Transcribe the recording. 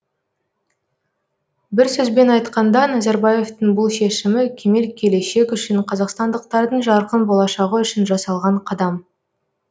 бір сөзбен айтқанда назарбаевтың бұл шешімі кемел келешек үшін қазақстандықтардың жарқын болашағы үшін жасалған қадам